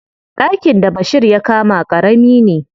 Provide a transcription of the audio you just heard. Ɗakin da Bashir ya kama ƙarami ne.